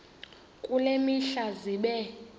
kule mihla zibe